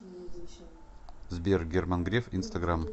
сбер герман греф инстаграм